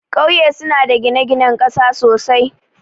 Kauye suna da gine-ginen ƙasa sosai,